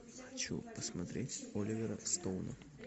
хочу посмотреть оливера стоуна